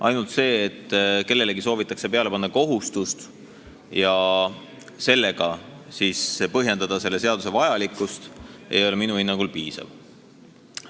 Ainult see, et kellelegi soovitakse peale panna kohustust, millega siis põhjendatakse selle seaduse vajalikkust, ei ole minu hinnangul piisav.